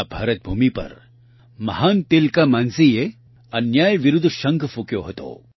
આ ભારત ભૂમિ પર મહાન તિલકા માંઝીએ અન્યાય વિરૂધ્ધ શંખ ફુંક્યો હતો